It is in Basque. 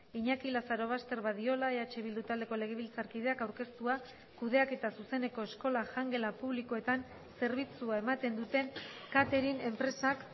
iñaki lazarobaster badiola eh bildu taldeko legebiltzarkideak aurkeztua kudeaketa zuzeneko eskola jangela publikoetan zerbitzua ematen duten catering enpresak